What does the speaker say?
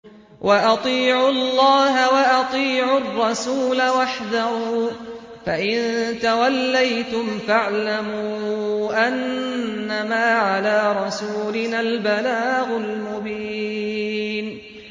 وَأَطِيعُوا اللَّهَ وَأَطِيعُوا الرَّسُولَ وَاحْذَرُوا ۚ فَإِن تَوَلَّيْتُمْ فَاعْلَمُوا أَنَّمَا عَلَىٰ رَسُولِنَا الْبَلَاغُ الْمُبِينُ